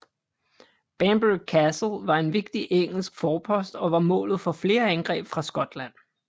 Bamburgh Castle var en vigtig engelsk forpost og var målet for flere angreb fra Skotland